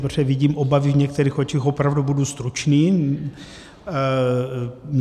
Protože vidím obavy v některých očích, opravdu budu stručný.